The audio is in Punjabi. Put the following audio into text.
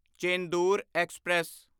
ਚੇਂਦੂਰ ਐਕਸਪ੍ਰੈਸ